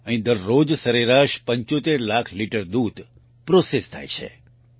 અહીં દરરોજ સરેરાશ 75 લાખ લિટર દૂધ પ્રોસેસ થાય છે